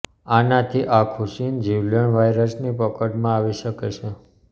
આનાથી આખું ચીન જીવલેણ વાયરસની પકડમાં આવી શકે છે